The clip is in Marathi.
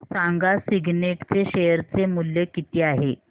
सांगा सिग्नेट चे शेअर चे मूल्य किती आहे